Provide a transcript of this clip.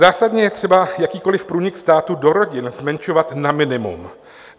Zásadně je třeba jakýkoliv průnik státu do rodin zmenšovat na minimum.